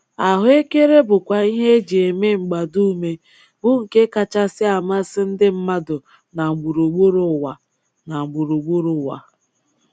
Ahụekere bụkwa ihe e ji eme mgbadume bụ nke kachasị amasị ndị mmadụ na gburugburu ụwa. na gburugburu ụwa.